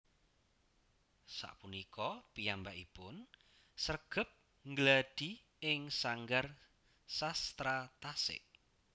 Sapunika piyambakipun sregep nggladhi ing Sanggar Sastra Tasik